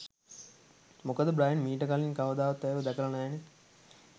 මොකද බ්‍රයන් මීට කලින් කවදාවත් ඇයව දැකල නෑනෙ.